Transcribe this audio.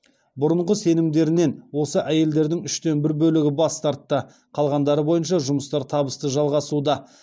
бұрынғы сенімдерінен осы әйелдердің үштен бір бөлігі бас тартты қалғандары бойынша жұмыстар табысты жалғасуда